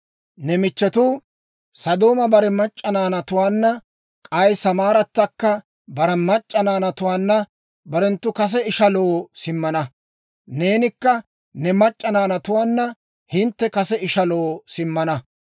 Ne michchetuu, Sodooma bare mac'c'a naanatuwaanna, k'ay Samaarattakka bare mac'c'a naanatuwaanna barenttu kase ishaloo simmana; neenikka ne mac'c'a naanatuwaanna hintte kase ishaloo simmana.